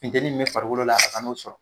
Futeni min be farikolo la a ka n'o sɔrɔ